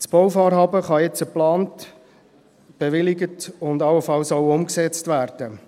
Das Bauvorhaben kann jetzt geplant, bewilligt und allenfalls auch umgesetzt werden.